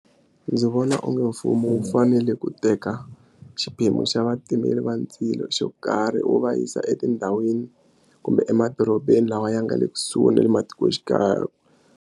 Ndzi vona onge mfumo wu fanele ku teka xiphemu xa vatimeli va ndzilo xo karhi wu va yisa etindhawini kumbe emadorobeni lawa ya nga le kusuhi na le matikoxikaya.